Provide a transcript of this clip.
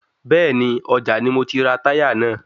Bẹ́ẹ̀ni, ọjà ni mo ti rà táyà náà